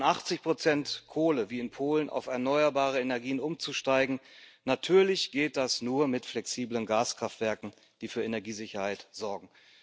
Von 80 Kohle wie in Polen auf erneuerbare Energien umzusteigen natürlich geht das nur mit flexiblen Gaskraftwerken, die für Energiesicherheit sorgen.